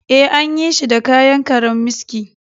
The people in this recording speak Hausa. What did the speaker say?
Ee, an yi shi da kayan karammiski